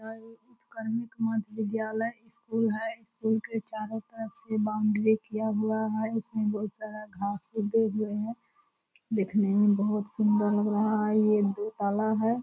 यह एक उत्कर्मिक मध्य विद्यालय स्कूल है स्कूल के चारो तरफ से बाउंडरी किया हुआ है इसमें बहुत सारा घास फूस दे दिया है देखने में बहुत सुंदर लग रहा है ये दो ताला है।